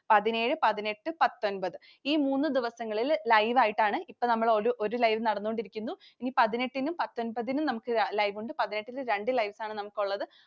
പതിനേഴ്, പതിനെട്ട്, പത്തൊമ്പത് ഈ മൂന്ന് ദിവസങ്ങളിൽ live ആയിട്ടാണ്. ഇപ്പൊ നമ്മൾ ഒരു live നടന്നു കൊണ്ടിരിക്കുന്നു. ഇനി പതിനെട്ടിനും പത്തൊമ്പതിനും നമുക്ക് live ഉണ്ട്. പതിനെട്ടിന് രണ്ട് lives ആണ് നമുക്കുള്ളത്.